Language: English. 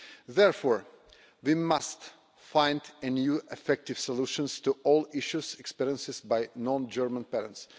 Therefore, we must find new, effective solutions to all issues experienced by non German parents.